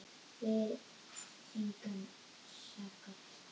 Við engan að sakast